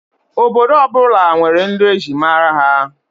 Obodo ọ bụla nwere nri e ji mara ha